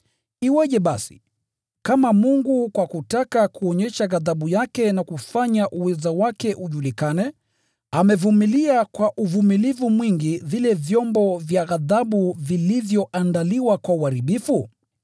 Iweje basi, kama Mungu kwa kutaka kuonyesha ghadhabu yake na kufanya uweza wake ujulikane, amevumilia kwa uvumilivu mwingi vile vyombo vya ghadhabu vilivyoandaliwa kwa uharibifu?